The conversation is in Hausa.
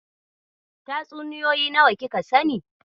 Tatsuniyoyi nawa kika sani?